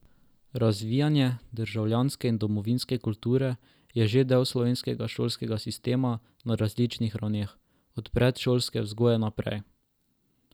Razvijanje državljanske in domovinske kulture je že del slovenskega šolskega sistema na različnih ravneh, od predšolske vzgoje naprej.